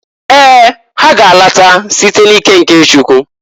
Ee! Ha ga-alata site n'ike nke Chukwu.